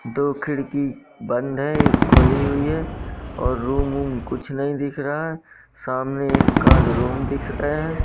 दो खिड़की बंद है एक खुली हुई है और रूम वूम कुछ नहीं दिख रहा है सामने एक का रूम दिख रहे--